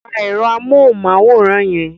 Pa ẹ̀rọ amóhùmáwòhán yẹn!